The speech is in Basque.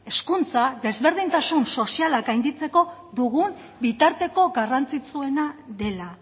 hezkuntza desberdintasun sozialak gainditzeko dugun bitarteko garrantzitsuena dela